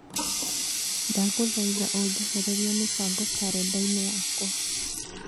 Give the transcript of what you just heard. Ndagũthaitha ũnjehererie mĩbango karenda-inĩ yakwa